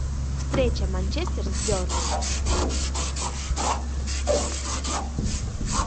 встреча манчестер с бернли